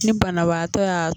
Ni banabaatɔ y'a